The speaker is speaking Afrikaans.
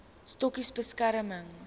stokkies bemesting